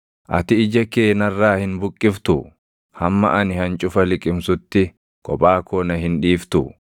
Ati ija kee narraa hin buqqiftuu? Hamma ani hancufa liqimsutti kophaa koo na hin dhiiftuu?